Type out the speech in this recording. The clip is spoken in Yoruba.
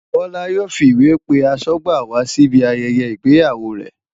Bola yóò fi ìwé pe aṣọ́gbà wa síbi ayẹyẹ ìgbéyàwó rẹ̀.